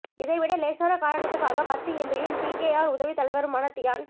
இதை விட லேசான காரணத்துக்காக பத்து எம்பியும் பிகேஆர் உதவித் தலைவருமான தியான்